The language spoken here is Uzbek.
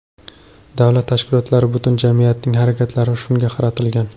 Davlat tashkilotlari, butun jamiyatning harakatlari shunga qaratilgan.